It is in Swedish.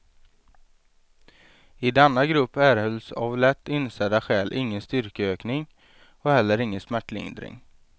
I denna grupp erhölls av lätt insedda skäl ingen styrkeökning, och heller ingen smärtlindring.